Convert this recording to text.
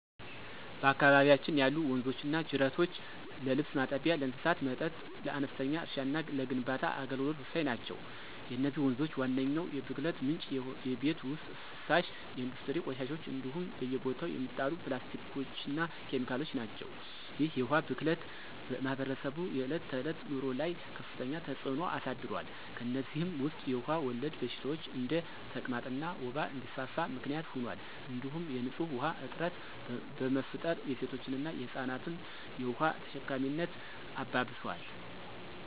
በአካባቢያችን ያሉ ወንዞችና ጅረቶች ለልብስ ማጠቢያ፣ ለእንስሳት መጠጥ፣ ለአነስተኛ እርሻና ለግንባታ አገልግሎት ወሳኝ ናቸው። የነዚህ ወንዞች ዋነኛው የብክለት ምንጭ የቤት ውስጥ ፍሳሽ፣ የኢንዱስትሪ ቆሻሻዎች እንዲሁም በየቦታው የሚጣሉ ፕላስቲኮችና ኬሚካሎች ናቸው። ይህ የውሃ ብክለት በማኅበረሰቡ የዕለት ተዕለት ኑሮ ላይ ከፍተኛ ተጽዕኖ አሳድሯል። ከእነዚህም ውስጥ የውሃ ወለድ በሽታዎች እንደ ተቅማጥና ወባ እንዲስፋፋ ምክንያት ሆኗል እንዲሁም የንፁህ ውሃ እጥረት በመፍጠር የሴቶችንና የህፃናትን የውሃ ተሸካሚነት አባብሷል።